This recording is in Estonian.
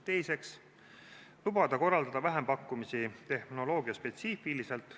Teiseks lubatakse korraldada vähempakkumisi tehnoloogiaspetsiifiliselt.